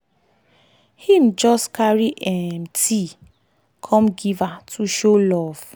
him just carry um tea come give her to show love.